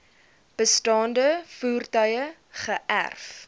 bestaande voertuie geërf